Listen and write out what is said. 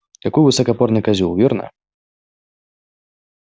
какой высокопарный козёл верно